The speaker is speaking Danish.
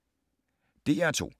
DR2